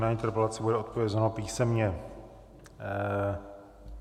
Na interpelaci bude odpovězeno písemně.